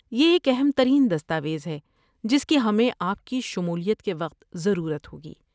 یہ ایک اہم ترین دستاویز ہے جس کی ہمیں آپ کی شمولیت کے وقت ضرورت ہوگی۔